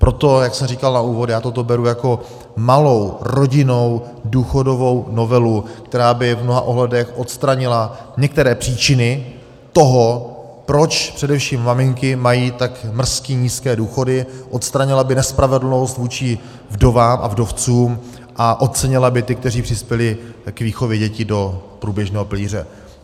Proto, jak jsem říkal na úvod, já toto beru jako malou rodinnou důchodovou novelu, která by v mnoha ohledech odstranila některé příčiny toho, proč především maminky mají tak mrzky nízké důchody, odstranila by nespravedlnost vůči vdovám a vdovcům a ocenila by ty, kteří přispěli k výchově dětí do průběžného pilíře.